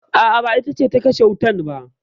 A'a, ba ita ce ta kashe wutan ba.